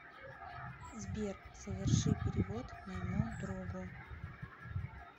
сбер соверши перевод моему другу